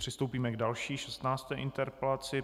Přistoupíme k další, šestnácté interpelaci.